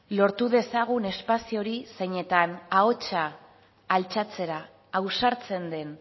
lortu dezagun espazio hori zeinetan ahotsa altxatzera ausartzen den